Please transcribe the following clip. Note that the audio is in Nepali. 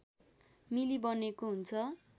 मिली बनेको हुन्छ